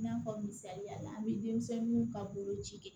I n'a fɔ misaliya la an bɛ denmisɛnninw ka boloci kɛ